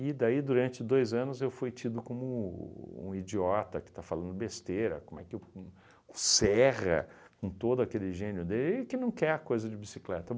daí, durante dois anos, eu fui tido como um idiota que está falando besteira, como é que uhn o Serra, com todo aquele gênio dele, ele que não quer a coisa de bicicleta.